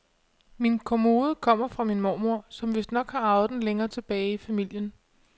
Min kommode kommer fra min mormor, som vistnok har arvet den længere tilbage i familien.